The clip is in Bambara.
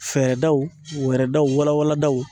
Fɛɛrɛdaw wɛɛrɛdaw walawaladaw.